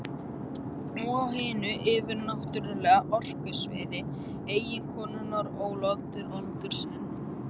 Og á hinu yfirnáttúrlega orkusviði eiginkonunnar ól Oddur aldur sinn.